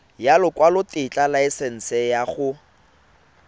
ya lekwalotetla laesense ya go